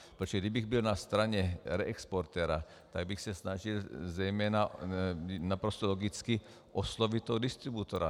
Protože kdybych byl na straně reexportéra, tak bych se snažil zejména - naprosto logicky - oslovit toho distributora.